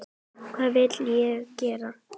Hvað vill ég gera?